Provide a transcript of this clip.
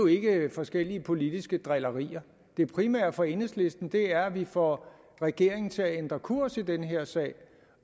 ikke forskellige politiske drillerier det primære for enhedslisten er at vi får regeringen til at ændre kurs i den her sag